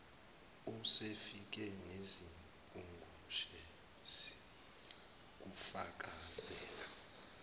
usefile nezimpungushe ziyakufakazela